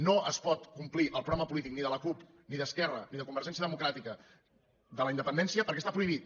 no es pot complir el programa polític ni de la cup ni d’esquerra ni de convergència democràtica de la independència perquè està prohibit